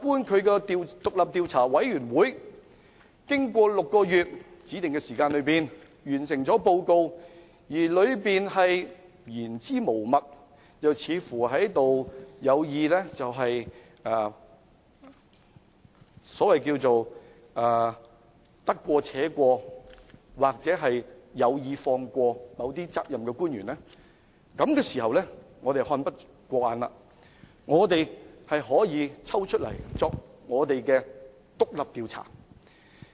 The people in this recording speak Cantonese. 倘若調查委員會在6個月的指定時間內完成報告，而報告的內容言之無物，又或者得過且過，有意放過某些須負責任的官員，在這個時候，我們看不過眼，立法會便可以進行獨立調查。